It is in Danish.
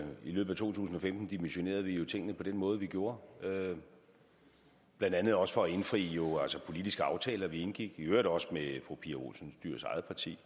løbet af to tusind og femten dimensionerede vi jo tingene på den måde vi gjorde blandt andet også for at indfri politiske aftaler vi indgik i øvrigt også med fru pia olsen dyhrs eget parti